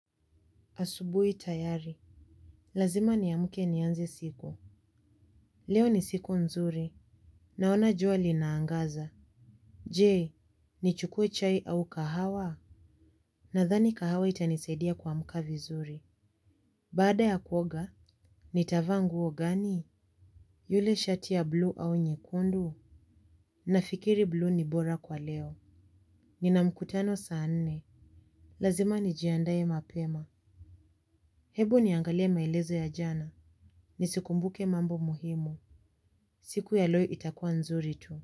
Asubuhi tayari. Lazima niamke nianze siku. Leo ni siku nzuri. Naona jua linaangaza. Je, nichukue chai au kahawa? Nadhani kahawa itanisaidia kuamka vizuri. Baada ya kuoga, nitavaa nguo gani? Ile shati ya blue au nyekundu? Nafikiri blue ni bora kwa leo. Nina mkutano saa nne. Lazima nijiandae mapema. Hebu niangalie maelezo ya jana. Nisikumbuke mambo muhimu. Siku ya leo itakua nzuri tu.